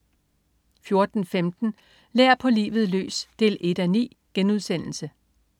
14.15 Lær på livet løs 1:9*